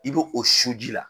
I be o su ji la